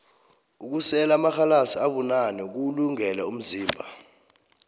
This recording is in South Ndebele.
ukusela amarhalasi abunane kuwulungele umzimba